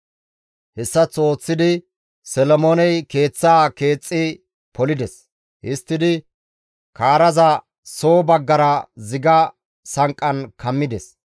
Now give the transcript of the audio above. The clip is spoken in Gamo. Hessaththo ooththidi Solomooney keeththaa keexxi polides; histtidi kaaraza soo baggara ziga sanqqan kammides.